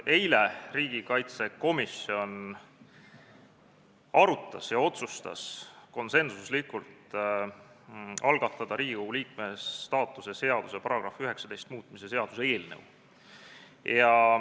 Eile pidas riigikaitsekomisjon aru ja otsustas konsensuslikult algatada Riigikogu liikme staatuse seaduse § 19 muutmise seaduse eelnõu.